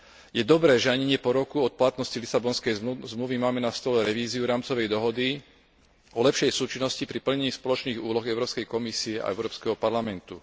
Je dobré, že ani nie po roku od platnosti Lisabonskej zmluvy máme na stole revíziu rámcovej dohody o lepšej súčinnosti pri plnení spoločných úloh Európskej komisie a Európskeho parlamentu.